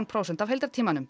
prósent af